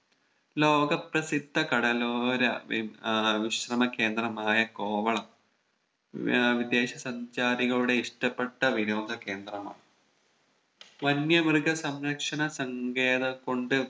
ലോക പ്രസിദ്ധ കടലോര വി ഏർ വിശ്രമ കേന്ദ്രമായ കോവളം വി ഏർ വിദേശ സഞ്ചാരികളുടെ ഇഷ്ട്ടപ്പെട്ട വിനോദ കേന്ദ്രമാണ് വന്യ മൃഗസംരക്ഷണ സങ്കേതം കൊണ്ട്